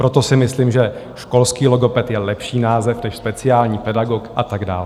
Proto si myslím, že školský logoped je lepší název než speciální pedagog a tak dál.